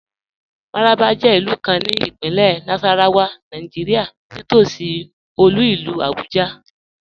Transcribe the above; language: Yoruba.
Mararaba jẹ ilù kàn ní Ìpínlẹ̀ Nasarawa, Nàìjíríà, nítòṣí olú ilù Abuja.